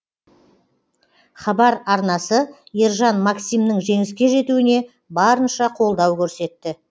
хабар арнасы ержан максимнің жеңіске жетуіне барынша қолдау көрсетті